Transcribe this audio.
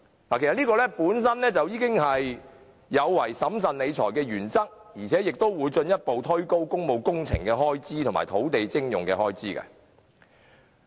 其實這樣做本身已違反了審慎理財的原則，亦會進一步推高工務工程和土地徵用的開支。